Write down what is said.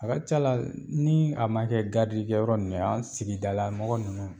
A ka ca la ni a man kɛ garidi kɛ yɔrɔ ninnu ye an sigida lamɔgɔ ninnu